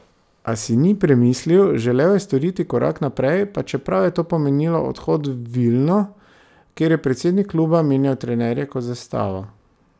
A si ni premislil, želel je storiti korak naprej, pa čeprav je to pomenilo odhod v Vilno, kjer je predsednik kluba menjal trenerje kot za stavo.